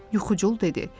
Yuxucul dedi.